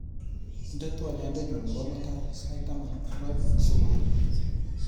Indene twoliotnyu nebo mutai sait taman ak aeng subui